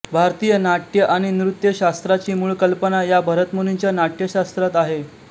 भारतीय नाट्य आणि नृत्य शास्त्राची मूळ कल्पना या भरतमुनींच्या नाट्यशास्त्रात आहे